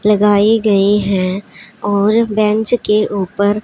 लगाई गई हैं और बेंच के ऊपर--